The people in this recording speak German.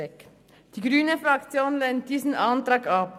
Die grüne Fraktion lehnt diesen Antrag ab.